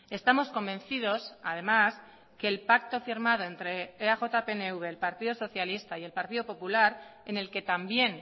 estamos convencidos además que el pacto firmado entre eaj pnv el partido socialista y el partido popular en el que también